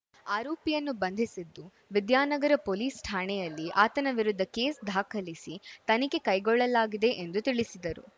ಆರೋಪಿಯನ್ನು ಬಂಧಿಸಿದ್ದು ವಿದ್ಯಾನಗರ ಪೊಲೀಸ್‌ ಠಾಣೆಯಲ್ಲಿ ಆತನ ವಿರುದ್ಧ ಕೇಸ್‌ ದಾಖಲಿಸಿ ತನಿಖೆ ಕೈಗೊಳ್ಳಲಾಗಿದೆ ಎಂದು ತಿಳಿಸಿದರು